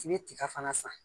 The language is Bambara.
Fini tiga fana san